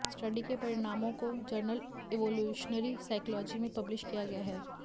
study के परिणामों को जर्नल इवोल्यूशनरी साइकोलॉजी में पब्लिश किया गया है